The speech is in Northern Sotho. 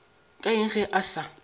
ke eng ge a sa